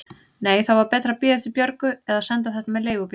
Nei, þá var betra að bíða eftir Björgu eða senda þetta með leigubíl.